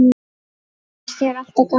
Finnst þér alltaf gaman?